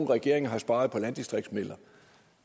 regeringen har sparet på landdistriktsmidler